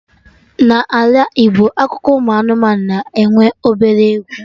Na Ala Igbo akụkọ ụmụ anụmanụ na-enwe obere egwu